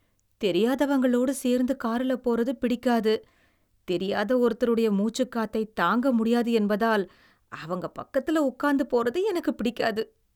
தெரியாதவங்களோடு சேர்ந்து காருல போறது பிடிக்காது. தெரியாத ஒருத்தருடைய மூச்சுக்காத்தை தாங்க முடியாது என்பதால் அவங்க பக்கத்துல உக்காந்து போறது எனக்குப் பிடிக்காது.